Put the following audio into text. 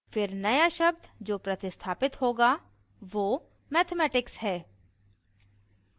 फिर नया शब्द जो प्रतिस्थापित होगा वो mathematics है